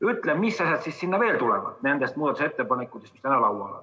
Ütle, mis asjad siis sinna veel tulevad nendest muudatusettepanekutest, mis täna laual on.